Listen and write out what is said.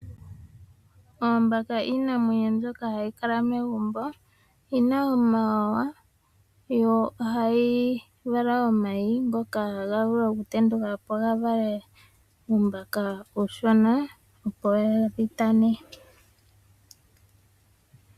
Oombaka iinamwenyo mbyoka ha yi kala megumbo. Oyina omawawa yo oha yi vala omayi ngoka haga vulu oku tendukapo ga vale uumbaka uushona opo dhitane.